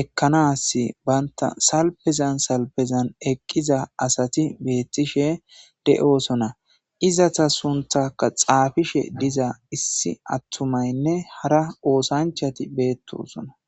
ekkanas banta salpezan salpezan eqqiza asati beettishe de'oosona izata sunthaka xaafishe diza issi attumaynne hara oosanchati beettosona.